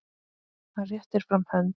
Hann réttir fram hönd.